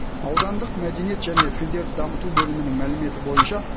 аудандық мәдениет және тілдерді дамыту бөлімінің мәліметі бойынша